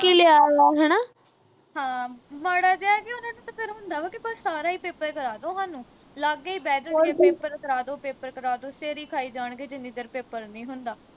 ਹਾਂ ਮਾੜਾ ਜਾ ਕਿ ਉਨ੍ਹਾਂ ਨੂੰ ਤੇ ਫਿਰ ਹੁੰਦਾ ਵਾ ਕੀ ਸਾਰਾ ਈ paper ਕਰਾ ਦੋ ਹਾਨੂੰ ਲਾਗੇ ਈ ਬਹਿ ਜਾਉ paper ਕਰਾ ਦੋ paper ਕਰਾ ਦੋ ਸਿਰ ਈ ਖਾਈ ਜਾਣਗੇ ਜਿੰਨੀ ਦੇਰ paper ਨੀ ਹੁੰਦਾ